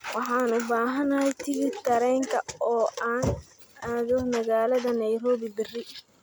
waxaan u baahanahay tigidh tareenka oo aan aado magaalada nairobi berri